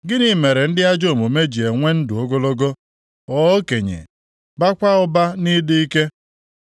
Gịnị mere ndị ajọ omume ji enwe ndụ ogologo, ghọọ okenye, baakwa ụba nʼịdị ike?